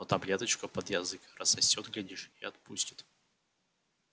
но таблеточку под язык рассосёт глядишь и отпустит